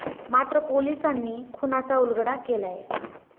मात्र, पोलिसांनी खूनाचा उलगडा केलाय.